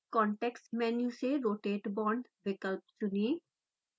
context menu से rotate bond विकल्प चुनें